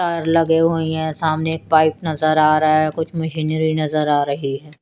तार लगी हुई हैं सामने पाइप नजर आ रहा हैं कुछ मशीनरी नजर आ रही है।